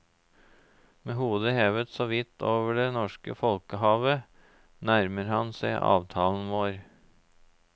Med hodet hevet såvidt over det norske folkehavet, nærmer han seg avtalen vår.